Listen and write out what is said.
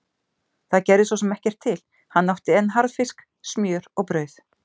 Það gerði svo sem ekkert til, hann átti enn harðfisk, smjör og brauð.